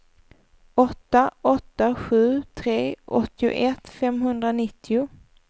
åtta åtta sju tre åttioett femhundranittio